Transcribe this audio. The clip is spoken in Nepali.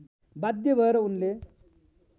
बाध्य भएर उनले